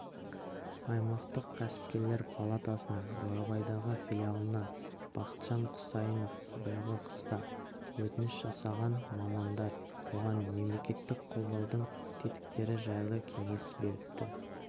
аймақтық кәсіпкерлер палатасының бурабайдағы филиалына бақытжан құсайынов биылғы қыста өтініш жасаған мамандар оған мемлекеттік қолдаудың тетіктері жайлы кеңес беріпті